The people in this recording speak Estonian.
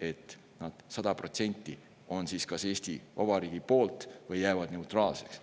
et nad sada protsenti on kas Eesti Vabariigi poolt või jäävad neutraalseks.